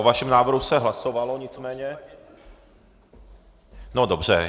O vašem návrhu se hlasovalo, nicméně, no dobře.